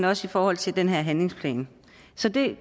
også i forhold til den her handlingsplan så det